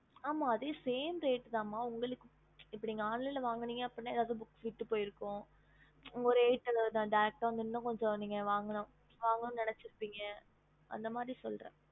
ஹம்